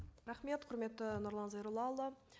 рахмет құрметті нұрлан зайроллаұлы